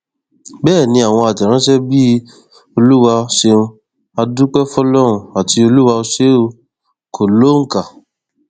bẹẹ ni àwọn àtẹrànṣe bíi olúwa ṣeun á dúpẹ fọlọrun àti olúwa ò ṣe o kò lóǹkà